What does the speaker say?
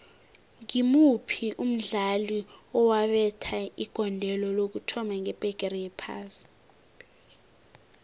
ngimuphi umdlali owabetha igondelo lokuthoma ngebhigiri yephasi